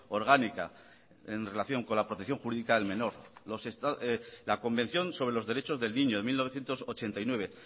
orgánica en relación con la protección jurídica del menor la convención sobre los derecho del niño de mil novecientos ochenta y nueve